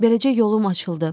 Beləcə yolum açıldı.